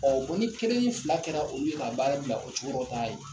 Ɔ bɔn ni kelen ni fila kɛra olu ka baara bila o cogorɔ taa yen !